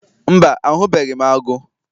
Mba, ahụbeghị m agụ